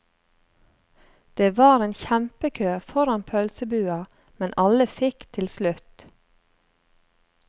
Det var en kjempekø foran pølsebua, men alle fikk til slutt.